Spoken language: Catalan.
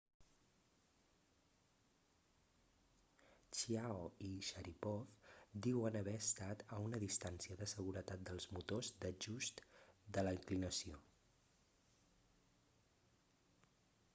chiao i sharipov diuen haver estat a una distància de seguretat dels motors d'ajust de la inclinació